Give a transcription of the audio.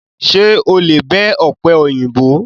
Ṣé o lè bẹ ọ̀pẹ òyìnbó?